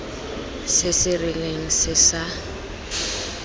se se rileng se sa